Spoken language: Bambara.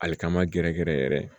Ali kama gɛrɛ gɛrɛ yɛrɛ